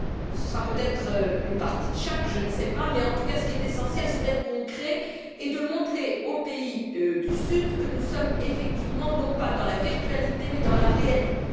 Ce sera peut être une partie de chaque, je ne sais pas, mais en tout cas, ce qui est essentiel, c'est d'être concret et de montrer aux pays du Sud que nous sommes effectivement, non pas dans la virtualité, mais dans la réalité.